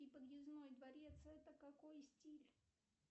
и подъездной дворец это какой стиль